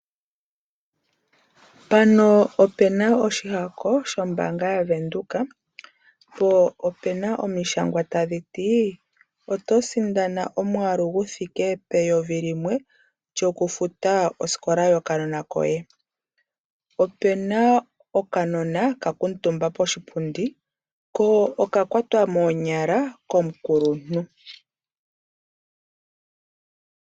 Mpano opena oshihako shombanga yaVenduka. Po opena omishangwa tadhi ti oto sindana omwaalu guthike peyovi limwe lyokufuta osikola yokanona koye. Opena okanona ka kuntumba poshipundi. Ko oka kwatwa moonyala komukuluntu.